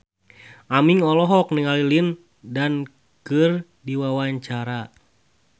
Aming olohok ningali Lin Dan keur diwawancara